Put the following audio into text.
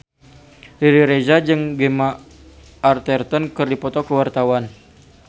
Riri Reza jeung Gemma Arterton keur dipoto ku wartawan